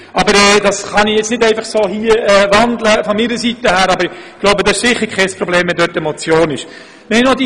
Das kann ich jetzt zwar nicht einfach wandeln, aber ich denke, es wäre kein Problem, wenn der Punkt als Motion überwiesen würde.